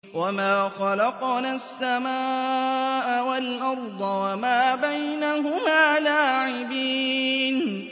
وَمَا خَلَقْنَا السَّمَاءَ وَالْأَرْضَ وَمَا بَيْنَهُمَا لَاعِبِينَ